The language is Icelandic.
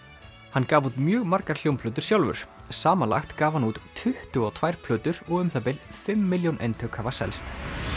hann gaf út mjög margar hljómplötur sjálfur samanlagt gaf hann út tuttugu og tvær plötur og um það bil fimm milljón eintök hafa selst